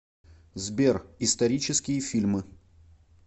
сбер исторические фильмы